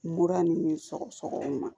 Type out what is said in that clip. Mura ni sɔgɔsɔgɔ ma